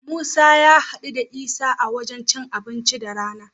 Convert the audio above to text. Musa ya haɗu da Isa a wajen cin abinci da rana.